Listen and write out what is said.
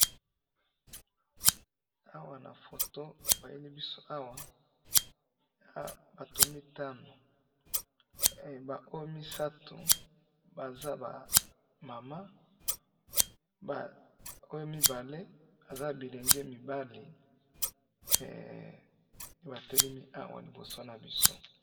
awa na photo ba yeli biso awa, eza na bato mitanu, ba oyo misatu baza ba maman, ba oyo mibale aza elenge mibali, nde ba telemi awa liboso na biso